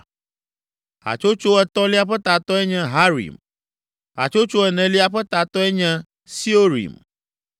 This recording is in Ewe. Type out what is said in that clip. Hatsotso etɔ̃lia ƒe tatɔe nye Harim. Hatsotso enelia ƒe tatɔe nye Seorim.